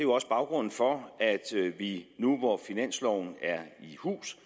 også baggrunden for at vi nu hvor finansloven er i hus